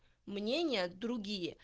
мнение другие